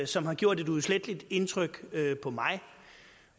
som har gjort et uudsletteligt indtryk på mig